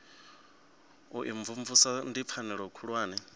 u imvumvusa ndi pfanelo khulwane